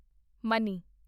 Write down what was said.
money